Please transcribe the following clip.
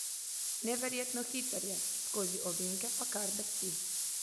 Neverjetno hiter je, skozi ovinke pa kar drsi.